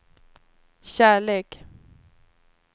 kärlek